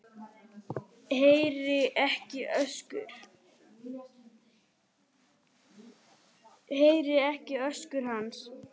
Heyri ekki öskur hans.